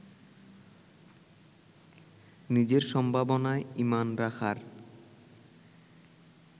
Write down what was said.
নিজের সম্ভাবনায় ইমান রাখার